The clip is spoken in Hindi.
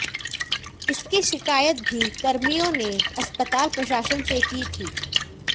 इसकी शिकायत भी कर्मियों ने अस्पताल प्रशासन से की थी